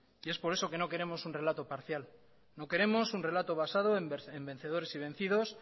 es por eso que no queremos un relato parcial no queremos un relato basado en vencedores y vencidos